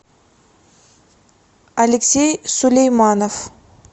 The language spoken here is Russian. алексей сулейманов